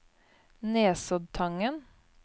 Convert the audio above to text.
Nesoddtangen